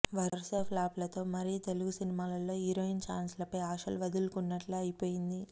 వరుస ఫ్లాప్ లతో మరి తెలుగు సినిమాల్లో హీరోయిన్ చాన్స్ లపై ఆశలు వదులుకున్నట్లే అయిపోయింది